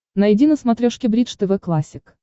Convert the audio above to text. найди на смотрешке бридж тв классик